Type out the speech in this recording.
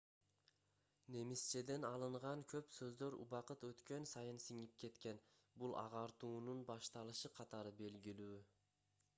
немисчеден алынган көп сөздөр убакыт өткөн сайын сиңип кеткен бул агартуунун башталышы катары белгилүү